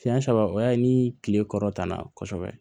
Siɲɛ saba o y'a ye ni kile kɔrɔ tana kosɛbɛ